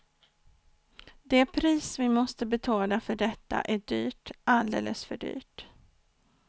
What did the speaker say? Det pris vi måste betala för detta är dyrt, alldeles för dyrt.